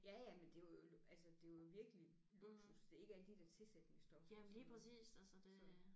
Ja ja men det er jo altså det var jo virkelig luksus det er ikke alle de der tilsætningsstoffer og sådan noget så